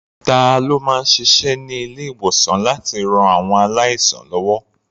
Ta ló máa ń ṣiṣẹ́ ní ilé-ìwòsàn láti ran àwọn aláìsàn lọ́wọ́?